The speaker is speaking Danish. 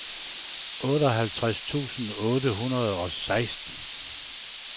otteoghalvtreds tusind otte hundrede og seksten